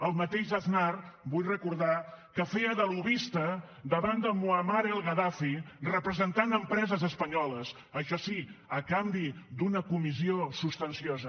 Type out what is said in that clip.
el mateix aznar vull recordar que feia de lobbista davant de moammar al gaddafi representant empreses espanyoles això sí a canvi d’una comissió substanciosa